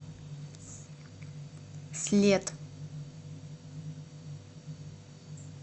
след